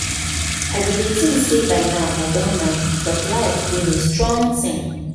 I bin dey think say by now I don marry but life do me strong thing